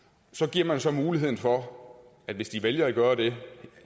giver man så muligheden for at hvis de vælger at gøre det